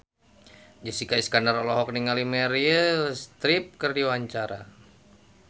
Jessica Iskandar olohok ningali Meryl Streep keur diwawancara